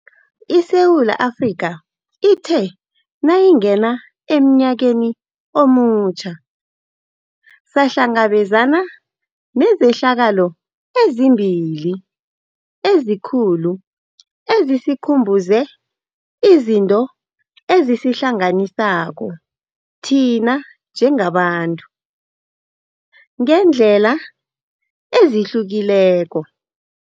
ISewula Afrika ithe nayingena emnyakeni omutjha, sahlangabezana nezehlakalo ezimbili ezikulu ezisikhumbuze izinto ezisihlanganisako thina njengabantu, ngeendlela ezihlukileko.